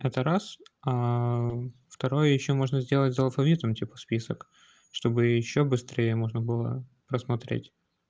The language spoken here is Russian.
это раз второй ещё можно сделать за алфавитом типа список чтобы ещё быстрее можно было просмотреть